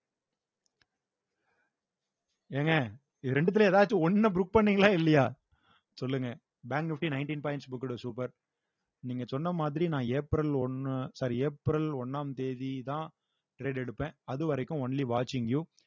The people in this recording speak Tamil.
ஏங்க இது ரெண்டுத்துல எதாச்சும் ஒண்ண பண்ணீங்களா இல்லையா சொல்லுங்க bank nifty nineteen points booked உ super நீங்க சொன்ன மாதிரி நான் ஏப்ரல் ஒன்னு sorry ஏப்ரல் ஒன்னாம் தேதிதான் trade எடுப்பேன் அது வரைக்கும் only watching you